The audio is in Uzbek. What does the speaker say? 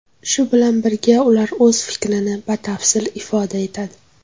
Shu bilan birga, ular o‘z fikrini batafsil ifoda etadi.